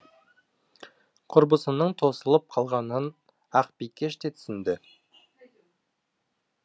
құрбысының тосылып қалғанын ақбикеш те түсінді